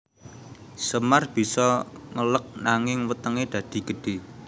Semar bisa ngeleg nanging wetenge dadi gedhe